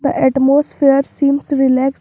atmosphere seems relaxed.